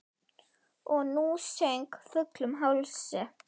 Og sú söng, fullum hálsi!